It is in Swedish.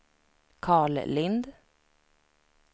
Karl Lindh